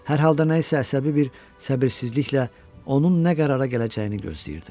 Hər halda nə isə əsəbi bir səbirsizliklə onun nə qərara gələcəyini gözləyirdi.